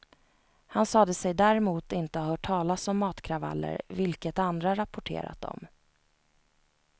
Han sade sig däremot inte ha hört talas om matkravaller, vilket andra rapporterat om.